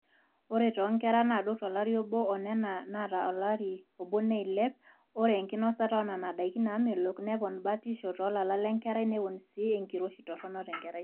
ore toonkera naadou tolari obo o nena naata olari obo neilep, ore enkinosata oonena daiki naamelook nepon batishu toolala lenkerai nepon sii enkiroshi torrono tenkerai